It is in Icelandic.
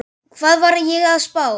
Hvað var ég að spá?